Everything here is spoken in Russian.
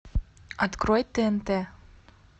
открой тнт